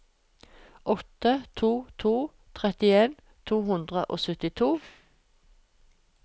åtte to to to trettien to hundre og syttito